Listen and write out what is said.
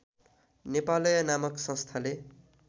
नेपालय नामक संस्थाले